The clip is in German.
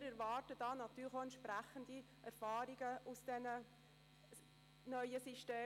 Wir erwarten von den neuen Systemen auch entsprechende Erfahrungswerte.